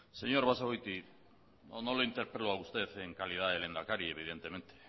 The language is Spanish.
señor basagoiti no lo interpelo a usted en calidad de lehendakari evidentemente